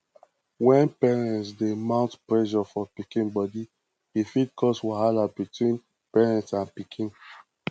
when parents dey mount pressure for pikin body e fit cause wahala between parent and pikin